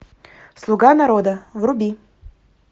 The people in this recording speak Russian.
слуга народа вруби